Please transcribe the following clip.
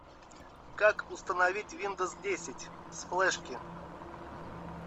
как установить виндовс десять с флешки